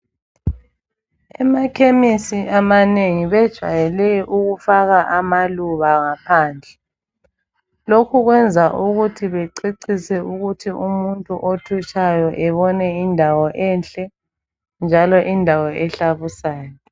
Emachemistry amanengi bajwayele ukufaka amaluba ngaphandle lokhu kwenza ukuthi bececise umuntu othutshayo ebone indawo enhle njalo indawo ehlabusayo